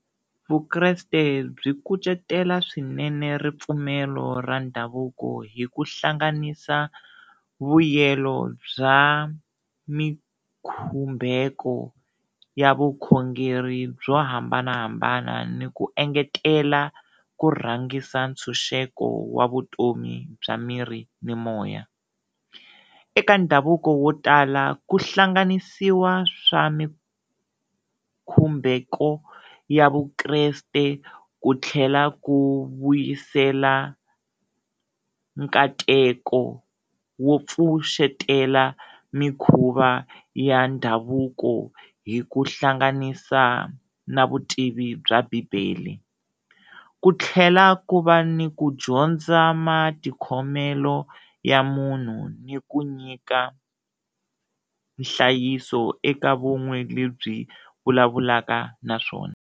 Vukreste byi kucetela swinene ripfumelo ra ndhavuko hi ku hlanganisa vuyelo bya mikhumbeko ya vukhongeri byo hambanahambana ni ku engetela ku rhangisa ntshunxeko wa vutomi bya miri ni moya, eka ndhavuko wo tala ku hlanganisiwa swa mikhumbeko ya Vukreste, ku tlhela ku vuyisela nkateko wo pfuxetela mikhuva ya ndhavuko hi ku hlanganisa na vutivi bya bibele, ku tlhela ku va ni ku dyondza matikhomelo ya munhu ni ku nyika nhlayiso eka vun'we lebyi vulavulaka na swona.